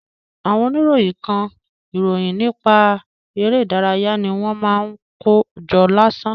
Àwọn oníròyìn kan, ìròyìn nípa eré ìdárayá ni wọ́n máa ń kó jọ lásán.